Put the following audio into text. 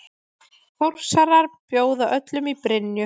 Þórsarar bjóða öllum í Brynju!